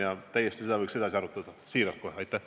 Ja seda teemat võiks kindlasti edasi arutada, ütlen seda siiralt.